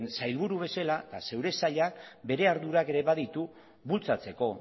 sailburu bezala eta zeure sailak bere ardurak ere baditu bultzatzeko